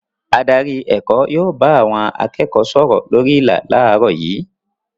Adarí èkó yóò bá àwọn akẹ́kọ̀ọ́ sọ̀rọ̀ lórí ìlà láàárọ̀ yìí.